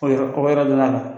O yɔrɔ kɔrɔ la.